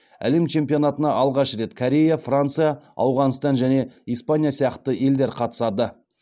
әлем чемпионатына алғаш рет корея франция ауғанстан және испания сияқты елдер қатысады